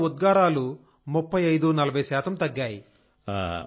దానిలో ఉద్గారాలు 3540 శాతం తగ్గాయి